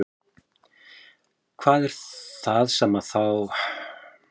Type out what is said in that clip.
Hvað er það sem þá er viðfangsefni tungumálsins?